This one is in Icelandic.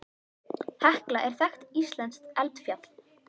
Hekla er þekkt íslenskt eldfjall.